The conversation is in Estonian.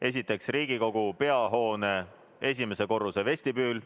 Esiteks, Riigikogu peahoone esimese korruse vestibüül.